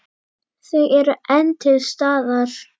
Þau eru enn til staðar.